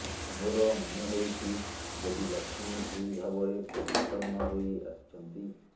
ମୋର ମନେହେଉଛି ଦେବୀ ଲକ୍ଷ୍ମୀ ଏହି ଭାବରେ ପ୍ରଚ୍ଛନ୍ନ ହୋଇ ଆସିଛନ୍ତି